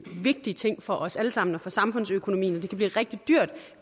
vigtig ting for os alle sammen og for samfundsøkonomien det kan blive rigtig dyrt